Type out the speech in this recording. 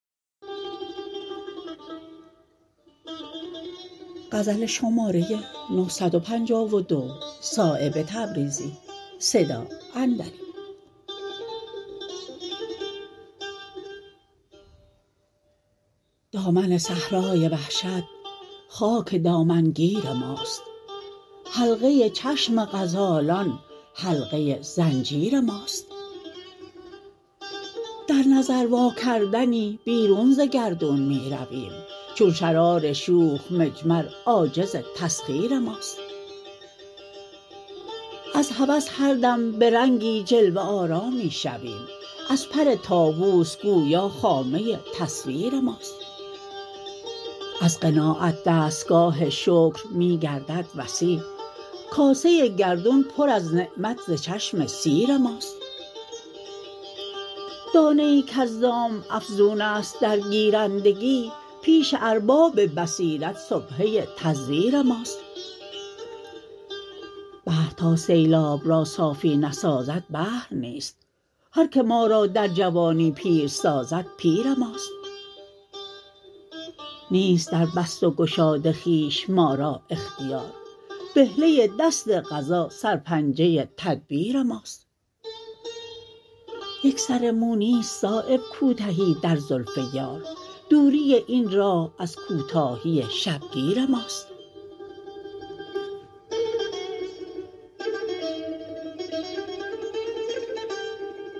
دامن صحرای وحشت خاک دامنگیر ماست حلقه چشم غزالان حلقه زنجیر ماست در نظر واکردنی بیرون ز گردون می رویم چون شرار شوخ مجمر عاجز تسخیر ماست از هوس هر دم به رنگی جلوه آرا می شویم از پر طاوس گویا خامه تصویر ماست از قناعت دستگاه شکر می گردد وسیع کاسه گردون پر از نعمت ز چشم سیر ماست دانه ای کز دام افزون است در گیرندگی پیش ارباب بصیرت سبحه تزویر ماست بحر تا سیلاب را صافی نسازد بحر نیست هر که ما را در جوانی پیر سازد پیر ماست نیست دربست و گشاد خویش ما را اختیار بهله دست قضا سرپنجه تدبیر ماست یک سر مو نیست صایب کوتهی در زلف یار دوری این راه از کوتاهی شبگیر ماست